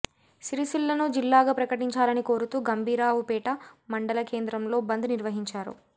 సిరిసిల్లను జిల్లాగా ప్రకటించాలని కోరుతూ గంభీరావుపేట మండల కేంద్రంలో బంద్ నిర్వహించారు